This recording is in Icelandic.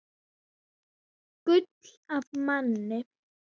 Gull af manni.